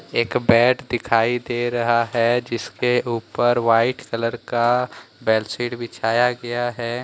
एक बेड दिखाई दे रहा है जिसके ऊपर वाइट कलर का बेडशीट बिछाया गया है।